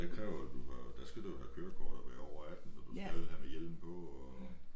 Det kræver jo du har der skal du jo have kørekort og være over 18 og du skal have hjelm på og